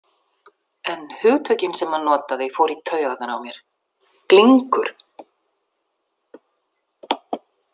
En hugtökin sem hann notaði fóru í taugarnar á mér: Glingur.